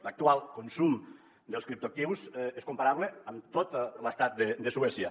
l’actual consum dels criptoactius és comparable amb tot l’estat de suècia